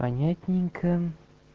понятненько